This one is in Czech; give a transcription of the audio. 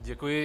Děkuji.